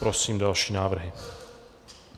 Prosím další návrhy.